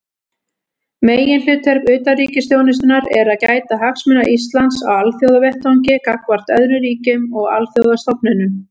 Meginhlutverk utanríkisþjónustunnar er að gæta hagsmuna Íslands á alþjóðavettvangi gagnvart öðrum ríkjum og alþjóðastofnunum.